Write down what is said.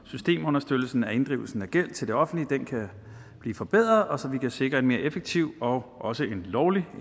systemunderstøttelsen af inddrivelse af gæld til det offentlige kan blive forbedret og så vi kan sikre en mere effektiv og også en lovlig